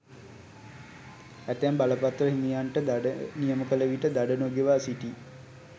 ඇතැම් බලපත්‍ර හිමියන්ට දඩ නියම කළ විට දඩ නොගෙවා සිටියි.